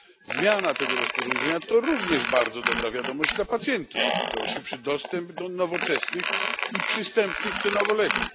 Zmiana tego rozporządzenia to również bardzo dobra wiadomość dla pacjentów, to szybszy dostęp do nowoczesnych i przystępnych cenowo leków.